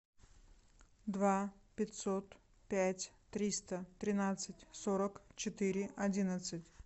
два пятьсот пять триста тринадцать сорок четыре одиннадцать